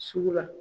Sugu la